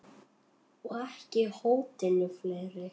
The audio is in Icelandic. Og ekki hótinu fleiri.